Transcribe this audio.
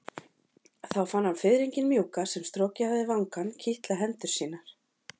Þá fann hann fiðringinn mjúka sem strokið hafði vangann kitla hendur sínar.